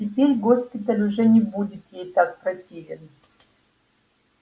теперь госпиталь уже не будет ей так противен